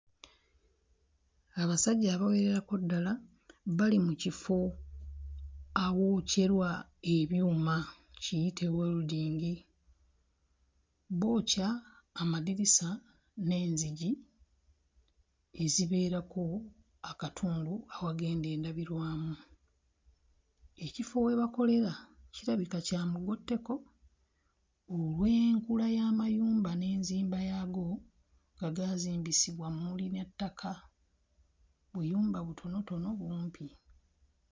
Abasajja abawererako ddala bali mu kifo awookyerwa ebyuma kiyite wolodingi. Bookya amadirisa n'enzigi ezibeerako akatundu awagenda endabirwamu. Ekifo we bakolera kirabika kya mugotteko olw'enkula y'amayumba n'enzimba yaago nga gaazimbisibwa mmuli na ttaka; buyumba butonotono, bumpi.